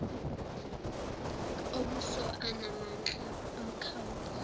ombuso anamandla omkhawulo